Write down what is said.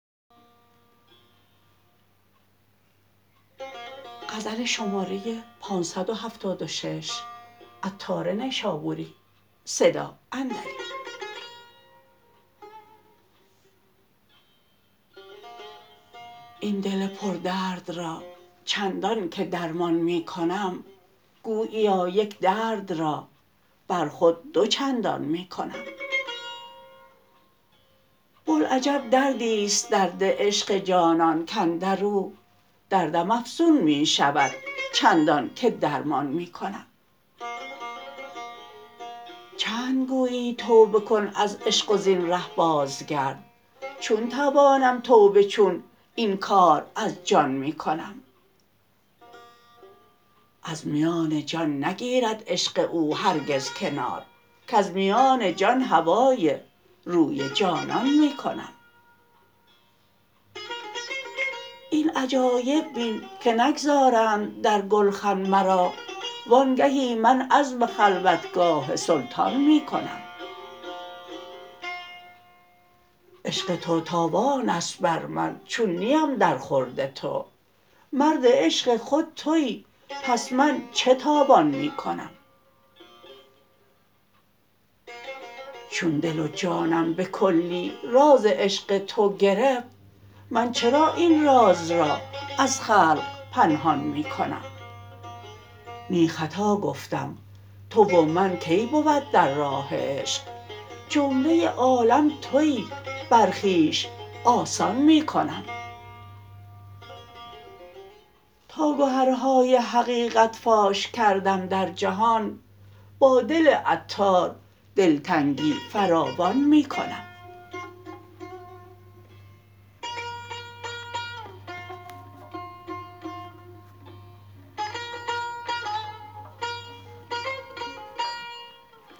این دل پر درد را چندان که درمان می کنم گوییا یک درد را بر خود دو چندان می کنم بلعجب دردی است درد عشق جانان کاندرو دردم افزون می شود چندان که درمان می کنم چند گویی توبه کن از عشق و زین ره باز گرد چون توانم توبه چون این کار از جان می کنم از میان جان نگیرد عشق او هرگز کنار کز میان جان هوای روی جانان می کنم این عجایب بین که نگذارند در گلخن مرا وانگهی من عزم خلوتگاه سلطان می کنم عشق تو تاوان است بر من چون نیم در خورد تو مرد عشق خود تویی پس من چه تاوان می کنم چون دل و جانم به کلی راز عشق تو گرفت من چرا این راز را از خلق پنهان می کنم نی خطا گفتم تو و من کی بود در راه عشق جمله عالم تویی بر خویش آسان می کنم تا گهرهای حقیقت فاش کردم در جهان با دل عطار دلتنگی فراوان می کنم